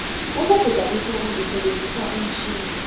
ukuguda ihloko ngisebenzisa umtjhini